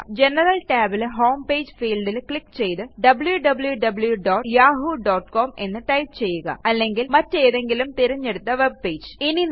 general tabൽ home page fieldൽ click ചെയ്ത് wwwyahoocom എന്ന് ടൈപ്പ് ചെയ്യുക അല്ലെങ്കില് മറ്റേതെങ്കിലും തിരഞ്ഞെടുത്ത വെബ്പേജ്